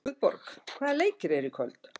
Guðborg, hvaða leikir eru í kvöld?